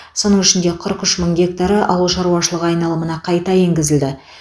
соның ішінде қырық үш мың гектары ауыл шаруашылығы айналымына қайта енгізілді